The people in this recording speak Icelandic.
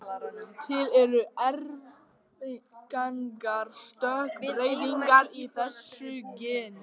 Til eru arfgengar stökkbreytingar í þessu geni.